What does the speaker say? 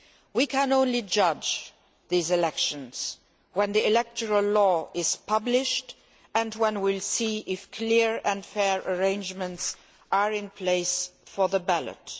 We can only judge these elections when the electoral law is published and when we see if clear and fair arrangements are in place for the ballot.